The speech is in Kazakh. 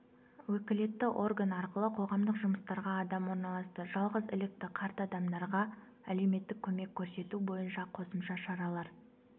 өкілетті орган арқылы қоғамдық жұмыстарға адам орналасты жалғызілікті қарт адамдарға әлеуметтік көмек көрсету бойынша қосымша шаралар